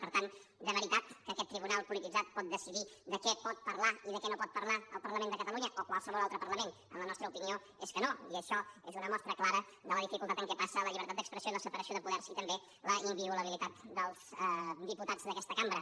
per tant de veritat que aquest tribunal polititzat pot decidir de què pot parlar i de què no pot parlar el parlament de catalunya o qualsevol altre parlament la nostra opinió és que no i això és una mostra clara de la dificultat en què passa la llibertat d’expressió i la separació de poders i també la inviolabilitat dels diputats d’aquesta cambra